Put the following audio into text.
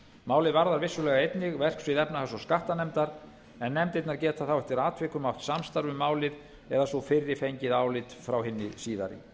málið varðar vissulega einnig verksvið efnahags og skattanefndar en nefndirnar geta þá eftir atvikum átt samstarf um málið eða sú fyrri fengið álit frá hinni síðari